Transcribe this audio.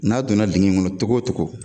N'a donna ŋɔnɔ togo togo